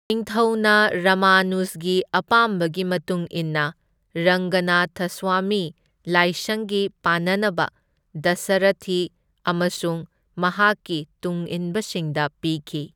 ꯅꯤꯡꯊꯧꯅ ꯔꯃꯅꯨꯖꯒꯤ ꯑꯄꯥꯝꯕꯒꯤ ꯃꯇꯨꯡ ꯏꯟꯅ ꯔꯪꯒꯅꯊꯁ꯭ꯋꯃꯤ ꯂꯥꯏꯁꯪꯒꯤ ꯄꯥꯟꯅꯅꯕ ꯗꯁꯔꯊꯤ ꯑꯃꯁꯨꯡ ꯃꯍꯥꯛꯀꯤ ꯇꯨꯡꯏꯟꯕꯁꯤꯡꯗ ꯄꯤꯈꯤ꯫